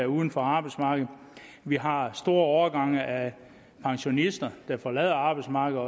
uden for arbejdsmarkedet vi har store årgange af pensionister der forlader arbejdsmarkedet